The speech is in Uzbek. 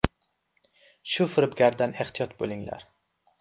Shu firibgardan ehtiyot bo‘linglar!